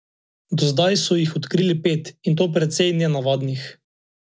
Do zdaj so jih odkrili pet, in to precej nenavadnih.